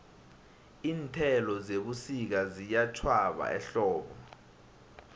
iinthelo zebusika ziyatjhwaba ehlobo